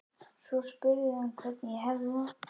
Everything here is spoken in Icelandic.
Svo spurði hann hvernig ég hefði það.